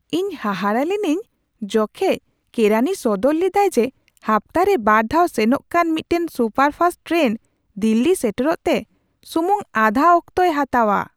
ᱤᱧ ᱦᱟᱦᱟᱲᱟᱜ ᱞᱤᱱᱟᱹᱧ ᱡᱚᱠᱷᱮᱡ ᱠᱮᱨᱟᱱᱤ ᱥᱚᱫᱚᱨ ᱞᱮᱫᱟᱭ ᱡᱮ ᱦᱟᱯᱛᱟᱨᱮ ᱵᱟᱨ ᱫᱷᱟᱣ ᱥᱮᱱᱚᱜ ᱠᱟᱱ ᱢᱤᱫᱴᱟᱝ ᱥᱩᱯᱟᱨ ᱯᱷᱟᱥᱴ ᱴᱨᱮᱱ ᱫᱤᱞᱞᱤ ᱥᱮᱴᱮᱨᱚᱜ ᱛᱮ ᱥᱩᱢᱩᱝ ᱟᱫᱷᱟ ᱚᱠᱛᱚᱭ ᱦᱟᱛᱟᱣᱟ !